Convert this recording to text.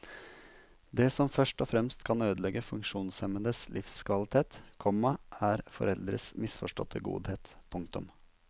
Det som først og fremst kan ødelegge funksjonshemmedes livskvalitet, komma er foreldres misforståtte godhet. punktum